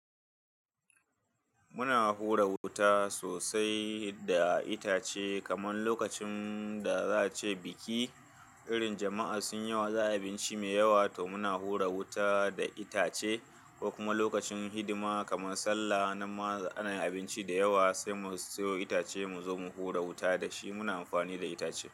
Muna hura wuta sosai da itace, kamar lokacin da za a ce biki, irin jama'a sun yawa, za a yi abinci mai yawa to muna hura wuta da itace ko kuma lokacin hidima kamar sallah, na maza ana yin abinci da yawa sai mu siyo itace mu zo mu hura wuta da shi. Muna amfani da itace.